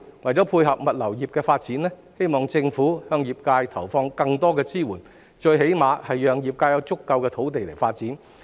為配合物流業的發展，我希望政府向業界投放更多支援，最起碼為業界提供足夠的土地作發展。